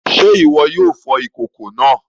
Se iwọ yóò fò ìkòkò náà?